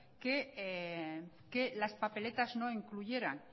que las papeletas ni incluyeran